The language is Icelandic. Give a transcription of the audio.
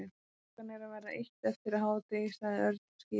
Klukkan er að verða eitt eftir hádegi sagði Örn til skýringar.